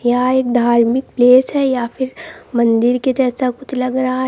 यह एक धार्मिक प्लेस है या फिर मंदिर के जैसा कुछ लग रहा है।